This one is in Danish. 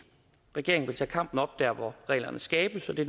regeringen vil tage kampen op der hvor reglerne skabes det